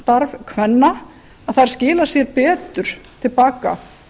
starf kvenna þær skila sér betur til baka